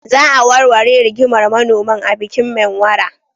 Za a warware rigimar manoman a bikin Menwara.